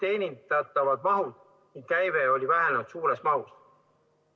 Teenindatavast mahust sõltuv käive on vähenenud suures ulatuses.